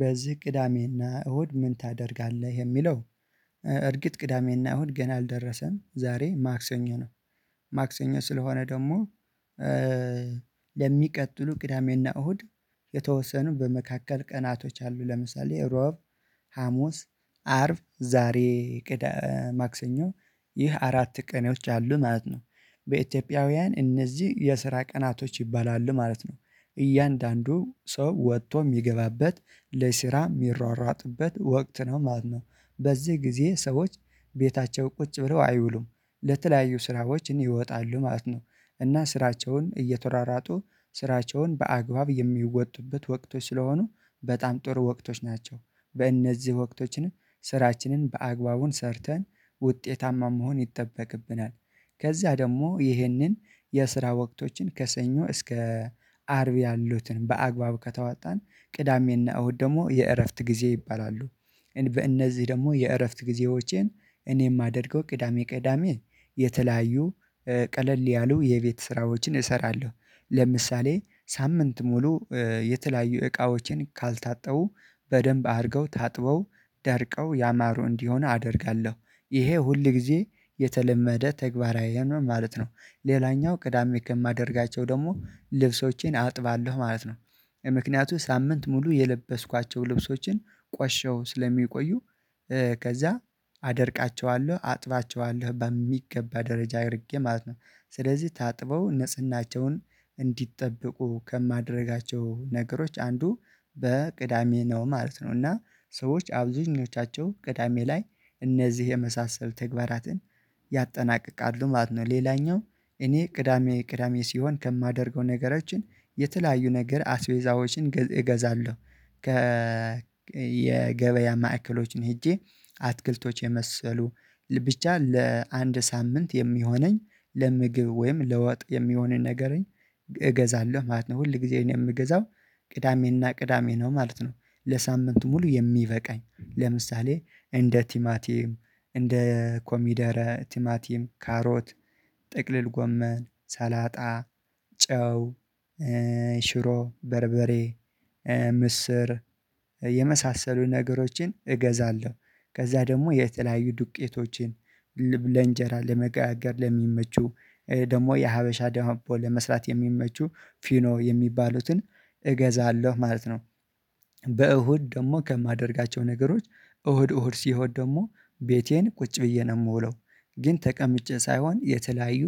በዚህ ቅዳሜና እሁድ ምን ታደርጋለህ የሚለው? እርግጥ ቅዳሜና እሁድ ገና አልደረሰም ዛሬ ማክሰኞ ነው። ማክሰኞ ስለሆነ ደግሞ ለሚቀጥሉ ቅዳሜና እሁድ የተወሰኑ በመካከል ቀናቶች አሉ ለምሳሌ ረቡዕ ሀሙስ አርብ ዛሬ ማክሰኞ ይህ አራት ቀኖች አሉ ማለት ነው። በኢትዮጵያውያን እነዚህ የስራ ቀናቶች ይባላሉ ማለት ነው። እያንዳንዱ ሰው ወጥቶ የሚገባበት ለስራ የሚሯሯጥበት ወቅት ነው ማለት ነው። በዚህ ጊዜ ሰዎች ቤታቸው ቁጭ ብለው አይውሉም ለተለያዩ ስራዎች ን ይወጣሉ ማለት ነው። እና ስራቸውን እየተሯሯጡ ስራቸውን በአግባብ የሚወጡበት ወቅቶች ስለሆኑ በጣም ጥሩ ወቅቶች ናቸው። በእነዚህ ወቅቶችን ስራችንን በአግባቡ ሰርተን ውጤታማ መሆን ይጠበቅብናል። ከዚያ ደግሞ ይህንን የስራ ወቅቶችን ከሰኞ እስከ አርብ ያሉትን በአግባብ ከተዋጣን ቅዳሜና እሁድ ደግሞ የእረፍት ጊዜ ይባላሉ። በእነዚህ ደግሞ የእረፍት ጊዜዎቼን እኔ የማደርገው ቅዳሜ ቅዳሜ የተለያዩ ቀለል ያሉ የቤት ስራዎችን እሰራለሁ። ለምሳሌ ሳምንት ሙሉ የተለያዩ እቃዎችን ካልታጠቡ በደንብ አድርገው ታጥበው ደርቀው ያማሩ እንዲሆን አደርጋለሁ ይሄ ሁል ጊዜ የተለመደ ተግባሬ ነው ማለት ነው። ሌላኛው ቅዳሜ ከማደርጋቸው ደግሞ ልብሶቼን አጥባለሁ ማለት ነው። ምክንያቱም ሳምንት ሙሉ የለበስኳቸውን ልብሶችን ቆሸሽው ስለሚቆዩ ከዛ አደርቃቸዋለሁ አጥባቸዋለሁ በሚገባ ደረጃ አድርጌ ማለት ነው። ስለዚህ ታጥበው ንጽህናቸውን እንዲጠብቁ ከማደርጋቸው ነገሮች አንዱ በቅዳሜ ነው ማለት ነው እና ሰዎች አብዛኞቻቸው ቅዳሜ ላይ እነዚህ የመሳሰሉ ተግባራትን ያጠናቅቃሉ ማለት ነው። ሌላኛው እኔ ቅዳሜ ቅዳሜ ሲሆን ከማደርገው ነገሮች የተለያዩ ነገር አስቤዛዎችን እገዛለሁ። ከ የገበያ ማዕከሎችን ሄጄ አትክልቶች የመሰሉ ብቻ ለአንድ ሳምንት የሚሆነኝ ለምግብ ወይም ለወጥ የሚሆነኝ ነገር እገዛለሁ ማለት ነው ሁል ጊዜን የምገዛው ቅዳሜና ቅዳሜ ነው ማለት ነው። ለሳምንቱ ሙሉ የሚበቃኝ ለምሳሌ እንደ ቲማቲም እንደ ኮሚደረ ቲማቲም ካሮት ጥቅልል ጎመን ሰላጣ ጨው ሽሮ በርበሬ ምስር የመሳሰሉ ነገሮችን እገዛለሁ። ከዛ ደግሞ የተለያዩ ዱቄቶቼን ለእንጀራ ለመጋገር ለሚመቹ ደግሞ የሀበሻ ዳቦ ለመስራት የሚመቹ ፊኖ የሚባሉትን እገዛለሁ ማለት ነው። በእሁድ ደግሞ ከማደርጋቸው ነገሮች እሁድ እሁድ ሲሆን ደግሞ ቤቴ ቁጭ ብዬ ነው የምውለው ግን ተቀምጬ ሳይሆን የተለያዩ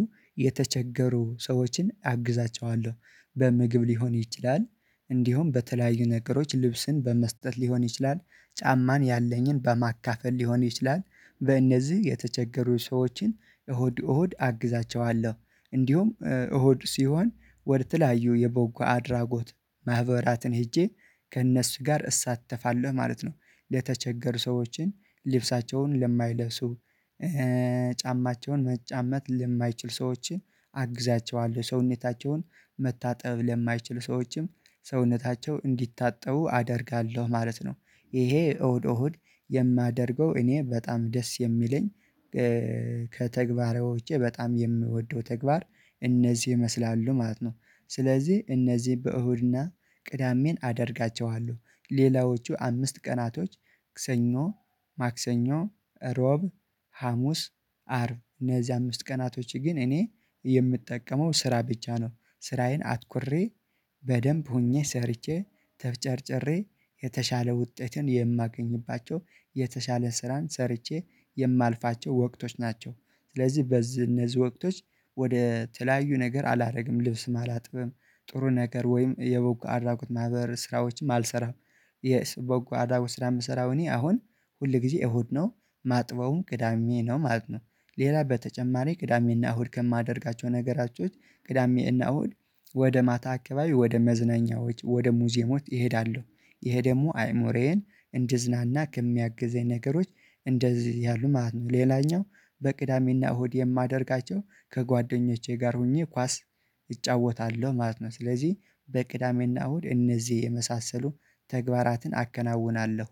የተቸገሩ ሰዎችን አግዛቸዋለሁ። በምግብ ሊሆን ይችላል እንዲሁም በተለያዩ ነገሮች ልብስን በመስጠት ሊሆን ይችላል ጫማን ያለኝን በማካፈል ሊሆን ይችላል በእነዚህ የተቸገሩ ሰዎችን እሁድ እሁድ አግዛቸዋለሁ። እንዲሁም እሁድ ሲሆን ወደ ተለያዩ የ በጎ አድራጎት ማህበራትን ሄጄ ከእነሱ ጋር እሳተፋለሁ ማለት ነው። ለተቸገሩ ሰዎችን ልብሳቸውን ለማይለብሱ ጫማቸውን መጫመት ለማይችሉ ሰዎችን አግዛቸዋለሁ ሰውነታቸውን መታጠብ ለማይችሉ ሰዎችም ሰውነታቸው እንዲታጠቡ አደርጋለሁ ማለት ነው። ይሄ እሁድ እሁድ የማደርገው እኔ በጣም ደስ የሚለኝ ከተግባር ውጪ በጣም የምወደው ተግባር እነዚህ ይመስላሉ ማለት ነው። ስለዚህ እነዚህ በእሁድና ቅዳሜን አደርጋቸዋለሁ ሌላዎቹ አምስት ቀናቶች ከሰኞ ማክሰኞ ረቡዕ ሀሙስ አርብ እነዚህ አምስት ቀናቶች ግን እኔ የምጠቀመው ስራ ብቻ ነው። ስራዬን አትኩሬ በደንብ ሆኜ ሰርቼ ተፍጨርጭሬ የተሻለ ውጤትን የማገኝባቸው የተሻለ ስራን ሰርቼ የማልፋቸው ወቅቶች ናቸው። ስለዚህ በዚህ እነዚህ ወቅቶች ወደ ተለያዩ ነገር አላደርግም ልብስ አላጥብም ጥሩ ነገር ወይም የበጎ አድራጎት ማህበር ስራዎችም አልሰራም። የበጎ አድራጎት ስራ የምሰራው እኔ አሁን ሁል ጊዜ እሁድ ነው የማጥበውም ቅዳሜ ነው ማለት ነው። ሌላ በተጨማሪ ቅዳሜና እሁድ ከማደርጋቸው ነገሮች ውስጥ ቅዳሜና እና እሁድ ወደ ማታ አካባቢ ወደ መዝናኛዎች ወደ ሙዚየሞች እሄዳለሁ። ይሄ ደግሞ አእምሮየን እንድዝናና ከሚያግዘኝ ነገሮች እንደዚህ ያሉ ማለት ነው ሌላኛው በቅዳሜና እሁድ የማደርጋቸው ከጓደኞቼ ጋር ሆኜ ኳስ እጫወታለሁ ማለት ነው። ስለዚህ በቅዳሜና እሁድ እነዚህ የመሳሰሉ ተግባራትን አከናውናለሁ።